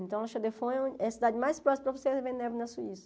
Então, La Chaux-de-Fonds é a cidade mais próxima para você ver neve na Suíça.